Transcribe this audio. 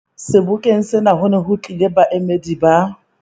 Sebokeng sena ho ne ho tlile baemedi ba